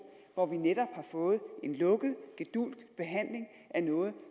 hvor vi netop har fået en lukket gedulgt behandling af noget